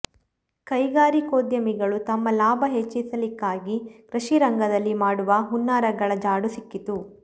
ಕೈಗಾರಿಕೋದ್ಯಮಿಗಳು ತಮ್ಮ ಲಾಭ ಹೆಚ್ಚಿಸಲಿಕ್ಕಾಗಿ ಕೃಷಿರಂಗದಲ್ಲಿ ಮಾಡುವ ಹುನ್ನಾರಗಳ ಜಾಡು ಸಿಕ್ಕಿತು